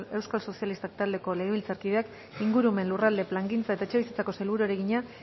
euskal sozialistak taldeko legebiltzarkideak ingurumen lurralde plangintza eta etxebizitzako sailburuari egina